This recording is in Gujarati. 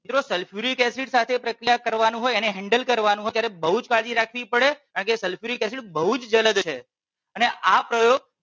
જો sulfuric acid સાથે પ્રક્રિયા કરવાનું હોય એને handle કરવાનું હોય ત્યારે બહુ જ કાળજી રાખવી પડે કારણકે sulfuric acid બહુ જ જલદ છે અને આ પ્રયોગ